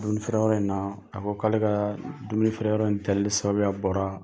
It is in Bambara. Dumini feere yɔrɔ in na, a ko k'ale ka dumini feere yɔrɔ in tali sababuya bɔra